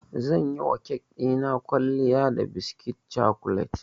Zan yiwa kek ɗina kwalliya da biskit cokolet.